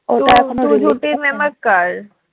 কার